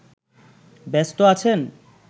ব্যস্ত আছেন